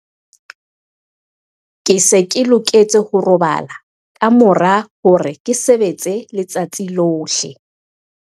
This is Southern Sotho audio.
Ke se ke loketse ho robala ka mora hore ke sebetse letsatsi lohle.